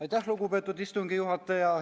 Aitäh, lugupeetud istungi juhataja!